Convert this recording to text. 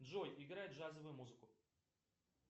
джой играть джазовую музыку